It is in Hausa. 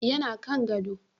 yana Kan gado